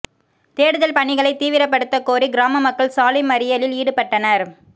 தேடுதல் பணிகளை தீவிரப்படுத்தக்கோரி கிராம மக்கள் சாலை மறியலில் ஈடுபட்டனர்